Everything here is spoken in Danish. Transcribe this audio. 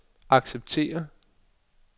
acceptere